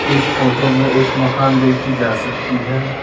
इस फोटो में एक मकान देखी जा सकती है।